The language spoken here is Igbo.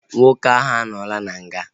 Nwoke ahu anọọla n'nga